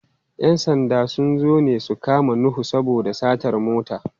‘Yan sanda sun zo ne su kamo Nuhu saboda satar mota.